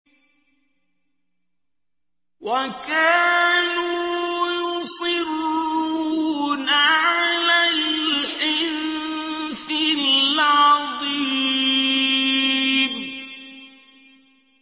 وَكَانُوا يُصِرُّونَ عَلَى الْحِنثِ الْعَظِيمِ